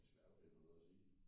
Det svært og finde på noget og sige